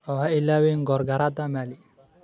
Oo ha ilaawin Gorgorrada Maali.